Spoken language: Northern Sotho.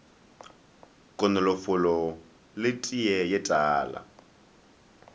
konofolo le teye ye tala